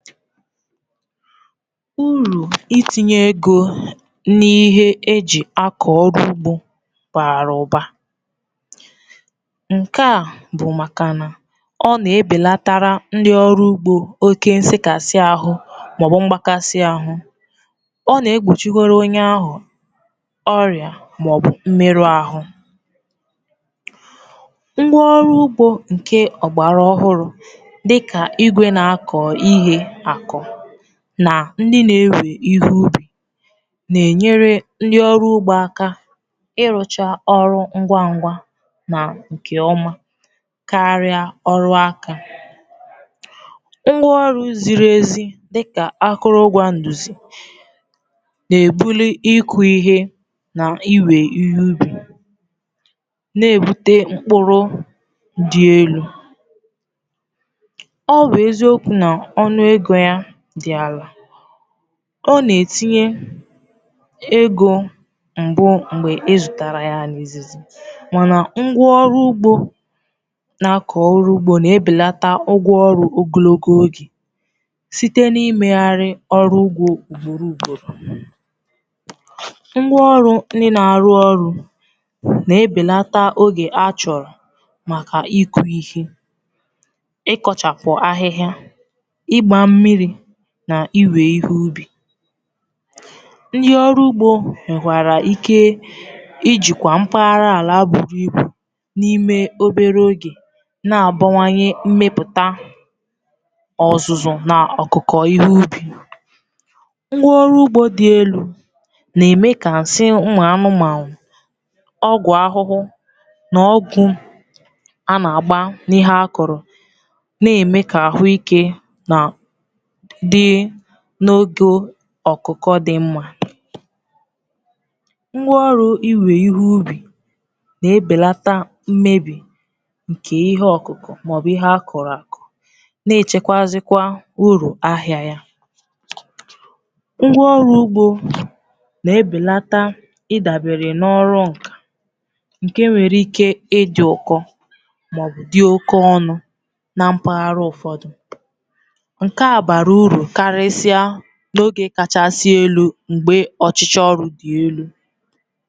Uru itinye ego n’ihe eji akọ ọrụ ugbo bara ụba. Nke a bụ maka na ọ na-ebelatarà ndị ọrụ ugbo oke nsekasi ahụ́ maọbụ mgbakasị ahụ, ọ na-egbochikwara onye ahụ ọrịa maọbụ mmerụ ahụ. Ngwa ọrụ ugbo nke ọgbara ọhụrụ, dịka igwe na-akọ ihe na ndị na-ewe ihe ubi, na-enyere ndị ọrụ ugbo aka ịrụcha ọrụ ngwa ngwa na nke ọma karịa ọrụ aka. Ngwa ọrụ ziri ezi, dịka akụrụ ụgwọ nduzi, na-ebuli ịkụ ihe na iwe ihe ubi, na-ebute mkpụrụ dị elu. Ọ na-etinye ego mbu mgbe ịzụtara ya n’izu izizi, mana ngwa ọrụ ugbo na-akọ ọrụ ugbo na-ebelata ụgwọ ọrụ ogologo oge site n'imegharị ọrụ ugbo ugboro ugboro. Ngwa ọrụ ndị na-arụ ọrụ na-ebelata oge achọrọ maka ịkụ ihe, ịkọchapụ ahịhịa, na iwe ihe ubi. Ndị ọrụ ugbo ghọta ike iji kwa mpaghara ala buru ibu n’ime obere oge, na-abawanye mmepụta ọzụzụ na ọkụkọ, ihe ubi wdg. Ngwa ọrụ ugbo dị elu na-eme ka nsị anụ, ọgwụ ahụhụ na ọgwụ a na-agbà n’ihe akọrọ mee nke ọma, na-eme ka ahụ ike dị mma n’oge ọkụkọ. Ngwa ọrụ iwe ihe ubi na-ebelata mmebi nke ihe ọkụkọ maọbụ ihe akọrọ akọrọ, na-echekwazịkwa uru ahịà ya. Ngwa ọrụ ugbo na-ebelata ịdabere n’ọrụ nka nke nwere ike ịbụ ụkọ maọbụ dị oke ọnụ na mpaghara ụfọdụ, n’oge kachasị elu mgbe ọrụ dị elu.